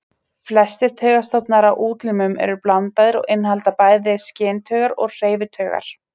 Flestir taugastofnar á útlimum eru blandaðir og innihalda bæði skyntaugar og hreyfitaugar.